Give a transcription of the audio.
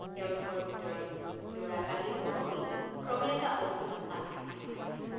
তেওঁলোকৰ ভিতৰত ল'ৰাকালিৰ মৰমেই ক্ৰমে এটা অভিনৱ আকৃতি ধৰিলে।